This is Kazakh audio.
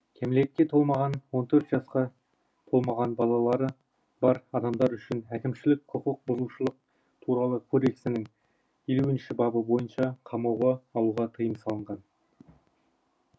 кәмелетке толмаған он төрт жасқа толмаған балалары бар адамдар үшін әкімшілік құқық бұзушылық туралы кодексінің елуінші бабы бойынша қамауға алуға тыйым салынған